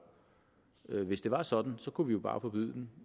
hvis det var sådan kunne vi jo bare forbyde den